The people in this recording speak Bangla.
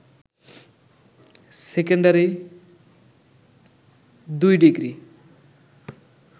secondary ২ degree